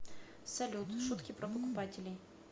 салют шутки про покупателей